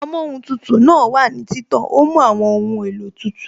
Amóhun tutù náà wà ní títàn, ó mú àwọn ohun èlò tútù